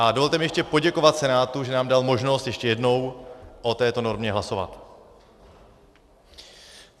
A dovolte mi ještě poděkovat Senátu, že nám dal možnost ještě jednou o této normě hlasovat.